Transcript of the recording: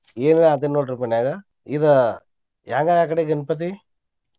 ಇದ ಇದ ಯಾವಾಗ ಅಕಡೆ ಗಣಪತಿ?